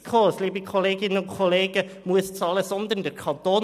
Nicht die SKOS, liebe Kolleginnen und Kollegen, muss bezahlen, sondern der Kanton.